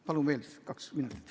Palun veel kaks minutit.